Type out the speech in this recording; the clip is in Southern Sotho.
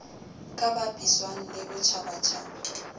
ka bapiswang le a botjhabatjhaba